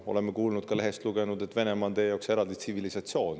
Oleme kuulnud ja ka lehest lugenud, et Venemaa on teie jaoks eraldi tsivilisatsioon.